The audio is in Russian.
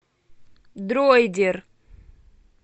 дроидер